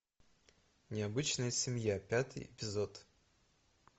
необычная семья пятый эпизод